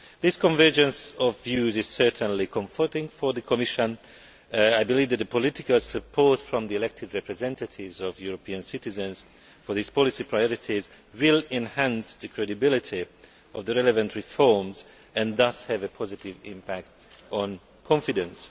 This convergence of views is comforting for the Commission. I believe that political support from the elected representatives of European citizens for these policy priorities will enhance the credibility of the relevant reforms and thus have a positive impact on confidence.